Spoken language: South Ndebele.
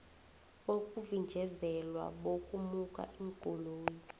bokuvinjezelwa bokumukwa iinkoloyi